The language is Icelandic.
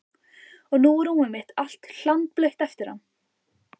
Og nú er rúmið mitt allt hlandblautt eftir hann.